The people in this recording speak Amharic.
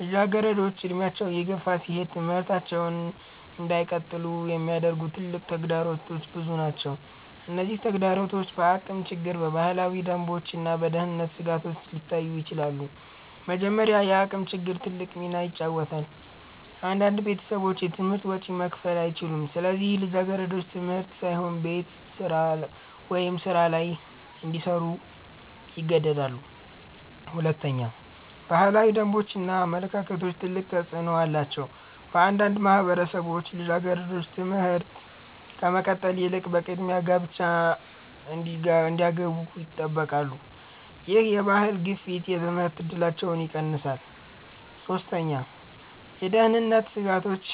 ልጃገረዶች እድሜያቸው እየገፋ ሲሄድ ትምህርታቸውን እንዳይቀጥሉ የሚያግዱ ትልቅ ተግዳሮቶች ብዙ ናቸው። እነዚህ ተግዳሮቶች በአቅም ችግር፣ በባህላዊ ደንቦች እና በደህንነት ስጋቶች ሊታዩ ይችላሉ። መጀመሪያ፣ የአቅም ችግር ትልቅ ሚና ይጫወታል። አንዳንድ ቤተሰቦች የትምህርት ወጪ መክፈል አይችሉም፣ ስለዚህ ልጃገረዶች ትምህርት ሳይሆን ቤት ስራ ወይም ሥራ ላይ እንዲሰሩ ይገደዳሉ። ሁለተኛ፣ ባህላዊ ደንቦች እና አመለካከቶች ትልቅ ተፅዕኖ አላቸው። በአንዳንድ ማህበረሰቦች ልጃገረዶች ትምህርት ከመቀጠል ይልቅ በቅድሚያ ጋብቻ እንዲገቡ ይጠበቃሉ። ይህ የባህል ግፊት የትምህርት እድላቸውን ይቀንሳል። ሶስተኛ፣ የደህንነት ስጋቶች